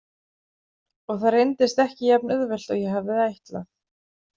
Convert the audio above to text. Og það reyndist ekki jafn auðvelt og ég hafði ætlað.